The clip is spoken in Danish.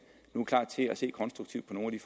er klar til at se konstruktivt på nogle